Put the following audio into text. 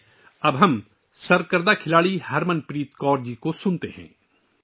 آئیے، اب ہم مشہور کرکٹ کھلاڑی ہرمن پریت کور جی کو سنتے ہیں